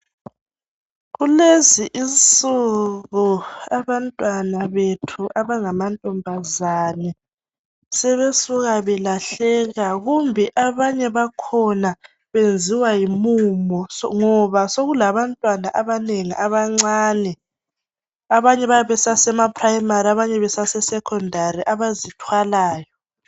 Kulezinsuku abantwana bethu abangamantombazane sebesuka belahleka kumbe abanye bakhona benziwa yimumo ngoba sokulabantwana abanengi abancane abanye bayabe besasemaprimary abanye besasesecondary abazithwalayo.